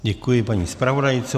Děkuji paní zpravodajce.